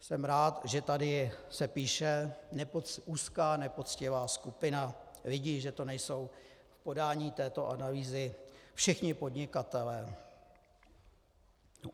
Jsem rád, že se tady píše "úzká nepoctivá skupina lidí", že to nejsou v podání této analýzy všichni podnikatelé.